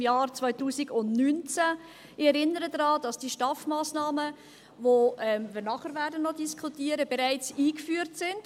Ich erinnere daran, dass die STAF-Massnahmen, die wir danach noch diskutieren werden, bereits eingeführt sind.